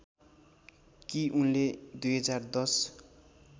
कि उनले २०१०